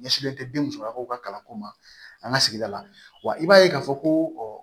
Ɲɛsigilen tɛ den musolakaw ka kalanko ma an ka sigida la wa i b'a ye k'a fɔ ko